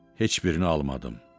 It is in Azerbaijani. Heç birini almadım.